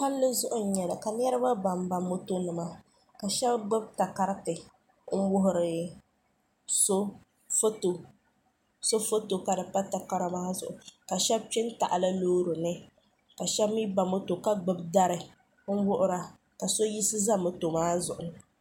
palizuɣ' n nyɛli ka niriba ban ba mɔto nima ka shɛbi gbabi karitɛ n wuhiri so soƒɔto karipa takari maa zuɣ' ka shɛbi kpɛ n taɣ' li lorini ka shɛbi mi ba mɔto ka gbabi dari n wuhira ka so yiɣisi za mɔto maa zuɣ' ni